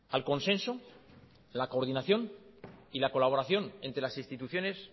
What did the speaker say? al consenso la coordinación y la colaboración entre las instituciones